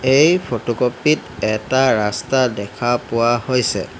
এই ফটোকপি ত এটা ৰাস্তা দেখা পোৱা হৈছে।